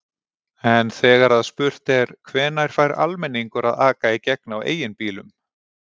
En þegar að spurt er: Hvenær fær almenningur að aka í gegn á eigin bílum?